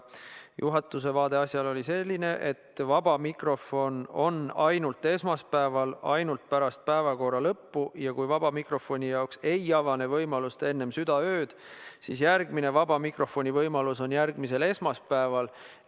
Juhatuse vaade asjale oli selline, et vaba mikrofon on ainult esmaspäeval, ainult pärast päevakorra lõppu, ja kui vaba mikrofoni jaoks ei avane võimalust enne südaööd, siis järgmine vaba mikrofoni võimalus on järgmisel esmaspäeval.